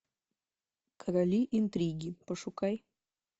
короли интриги пошукай